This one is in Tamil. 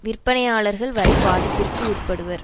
விற்பனையாளர்கள் வரை பாதிப்பிற்கு உட்படுவர்